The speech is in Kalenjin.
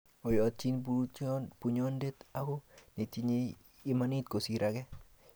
Oyochni bortonyu bunyondit ngo netinyei imanit kosir age?